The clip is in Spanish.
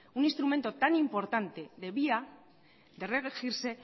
un instrumento tan importante debía o debe regirse